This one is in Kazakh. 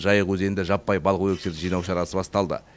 жайық өзенінде жаппай балық өлекселерін жинау шарасы басталды